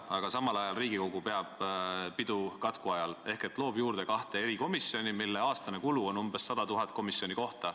Aga samal ajal Riigikogu peab pidu katku ajal ehk loob juurde kahte erikomisjoni, mille aastane kulu on umbes 100 000 komisjoni kohta.